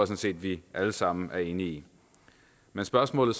set at vi alle sammen er enige i men spørgsmålet